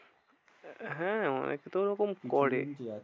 হ্যাঁ অনেক তো ওরকম করে।